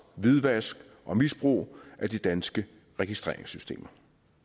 hvidvask og misbrug af de danske registreringssystemer